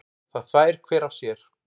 Það þvær hver af sér.